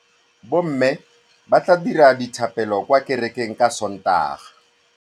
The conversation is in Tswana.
Bommê ba tla dira dithapêlô kwa kerekeng ka Sontaga.